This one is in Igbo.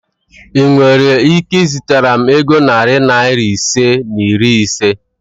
Ị nwere ike izitara m ego narị Naira ise na iri ise?